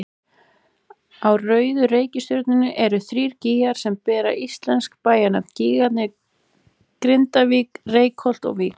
Á rauðu reikistjörnunni eru þrír gígar sem bera íslensk bæjarnöfn, gígarnir Grindavík, Reykholt og Vík.